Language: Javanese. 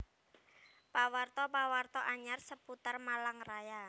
Pawarta pawarta anyar seputar Malang Raya